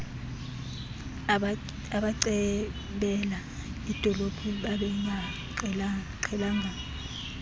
abacebela idolophu babengaqhelananga